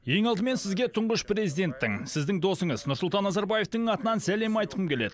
ең алдымен сізге тұңғыш президенттің сіздің досыңыз нұрсұлтан назарбаевтың атынан сәлем айтқым келеді